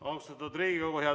Austatud Riigikogu!